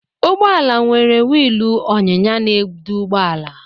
Ụgbọala nwere wiilu ọnyịnya na edu ụgbọala.